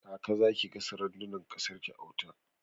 Kaka zaki gasa randunan kasar ki a wuta?